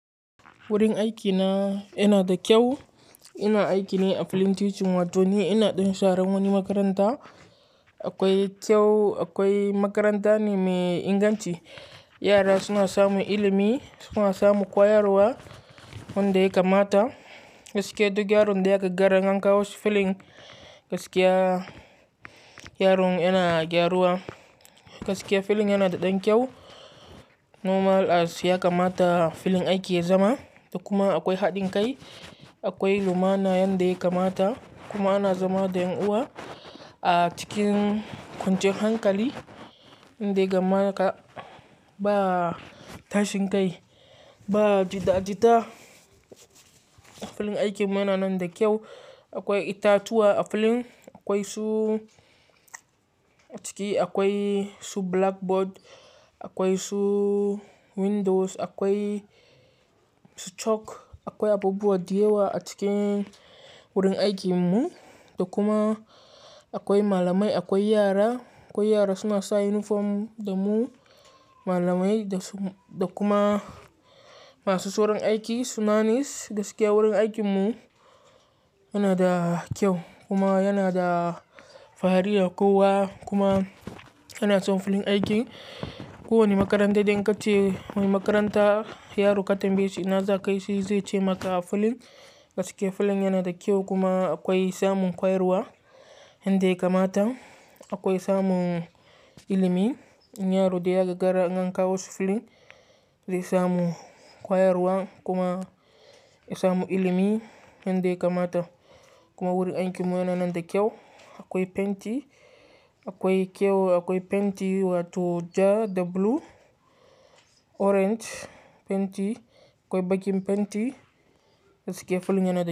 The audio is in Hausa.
Wurin aikina yana da kyau. Ina aiki ne a fillin taeaching wato ni ina ɗan sharan wani makaranta. Akwai kyau, akwai makaranta ne mai inganci. Yara suna samun ilimi, suna samun kwayarwa wanda ya kamata. Gaskiya duk yaron da ya ka gaggara in an kawo shi fillin, gaskiya yaron yana gyaruwa. Gaskiya filling yana da ɗan kyau. Normal as ya kamata fillin ake zama da kuma akwai haɗin kai. Akwai lumana yanda ya kamata kuma ana zama da ƴan uwa a cikin kwanciyar hankali inda gama ka ba tashin kai, ba jita-jita. Filling aikin mu yana nan da kyau. Akwai itatuwa a filling, akwai su ciki akwai su blackboard, akwai su windows, akwai su chalk, akwai abubuwa diyawa a cikin wurin aikin mu da kuma akwai malamai, akwai yara. Akwai yara suna sa uniform da mu malamai da su da kuma masu soron aiki suna nis. Gaskiya wurin aikin mu yana da kyau kuma yana da fahari da kowa kuma yana son filling aiki. Kowane makaranta da in ka ce wani makaranta yaro ka tambaye shi ina za ka yi shi zai ce maka a filling. Gaskiya filling yana da kyau kuma akwai samun kwayarwa yanda ya kamata. Akwai samun ilimi. Yin yaro da ya ka gara nganka wasu filling zai samu kwayarwa kuma ya samu ilimi yanda ya kamata. Kuma wurin aikin mu yana nan da kyau. Akwai fenti, akwai kyau akwai fenti wato ja da blue, orange fenti, akwai baƙin fenti. Gaskiya filling yana da kyau.